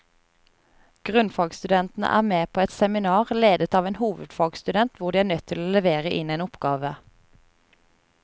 Grunnfagsstudentene er med på et seminar, ledet av en hovedfagsstudent, hvor de er nødt til å levere inn en oppgave.